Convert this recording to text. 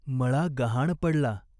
मळा गहाण पडला.